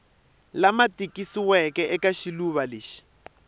lama tikisiweke eka xivulwa lexi